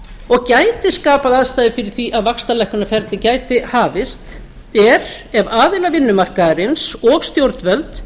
og gætu skapað aðstæður fyrir því að vaxtalækkunarferli gæti hafist er að aðilar vinnumarkaðarins og stjórnvöld